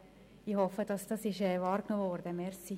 Aber ich hoffe, dass dies wahrgenommen worden ist.